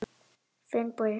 Finnbogi